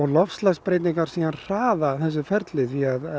loftslagsbreytingar hraða þessu ferli því